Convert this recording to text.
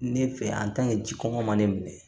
Ne fɛ ji kɔngɔ ma ne minɛ